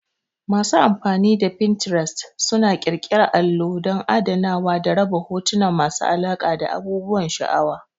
Masu amfani da Pininterest suna ƙirƙira allo don adanawa da raba hotuna masu alaƙa da abubuwan sha'awa.